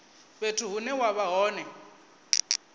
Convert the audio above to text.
fhethu hune wa vha hone